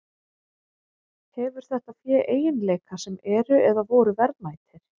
Hefur þetta fé eiginleika sem eru, eða voru, verðmætir?